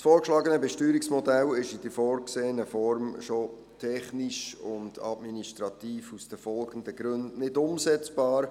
Das vorgeschlagene Besteuerungsmodell ist in der vorgesehenen Form schon aus den folgenden Gründen technisch und administrativ nicht umsetzbar: